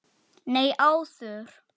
Nei, áður.